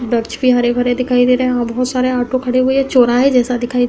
वृक्ष भी हरे-भरे दिखाई दे रहे हैं और बहोत सारे आटो खड़े हुए हैं। चौराहे जैसा दिखाई --